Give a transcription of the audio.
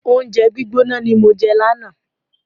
Oúnjẹ gbígbóná ni mo jẹ lánàá.